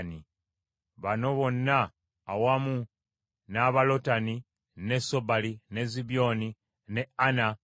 Bano be bakulu b’enda za Bakooli: Lotani, ne Sobali, ne Zibyoni, ne Ana,